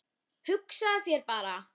Hugsaðu þér bara!